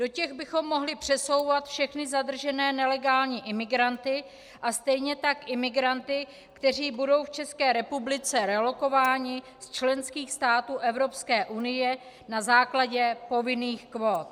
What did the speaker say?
Do těch bychom mohli přesouvat všechny zadržené nelegální imigranty a stejně tak imigranty, kteří budou v České republice relokováni z členských států Evropské unie na základě povinných kvót.